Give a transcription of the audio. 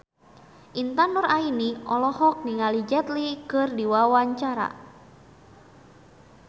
Intan Nuraini olohok ningali Jet Li keur diwawancara